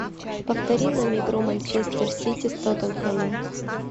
повтори нам игру манчестер сити с тоттенхэмом